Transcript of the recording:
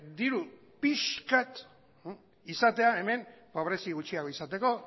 diru pixka bat izatea hemen pobrezi gutxiago izateko